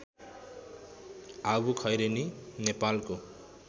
आँबुखैरेनी नेपालको